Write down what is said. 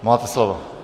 Máte slovo.